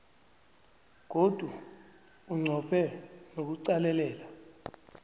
godu unqophe nokuqalelela